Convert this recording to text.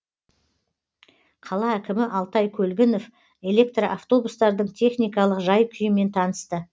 қала әкімі алтай көлгінов электроавтобустардың техникалық жай күйімен танысты